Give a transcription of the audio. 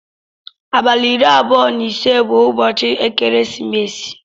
Abali iri abụọ na ise bu ụbọchi ekeresimesi.